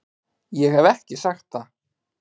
Ég hef ekki sagt það!